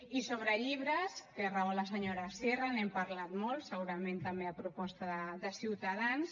i sobre llibres té raó la senyora sierra n’hem parlat molt segurament també a proposta de ciutadans